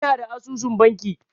Ina da asusun banki.